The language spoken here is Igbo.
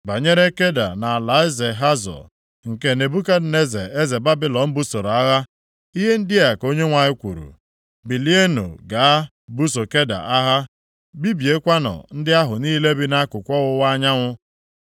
Banyere Keda na alaeze Hazọ, nke Nebukadneza eze Babilọn busoro agha: Ihe ndị a ka Onyenwe anyị kwuru, “Bilienụ gaa buso Keda agha. Bibiekwanụ ndị ahụ niile bi nʼakụkụ ọwụwa anyanwụ.